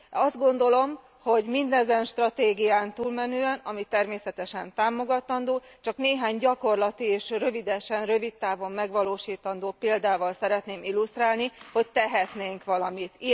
Azt gondolom, hogy mindezen stratégián túlmenően, ami természetesen támogatandó, csak néhány gyakorlati és rövidesen rövidtávon megvalósítandó példával szeretném illusztrálni, hogy tehetnénk valamit.